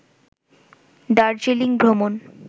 দার্জিলিং ভ্রমণ